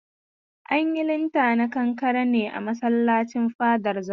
An yi linta na kankare ne a masallacin Fadar Zazzau.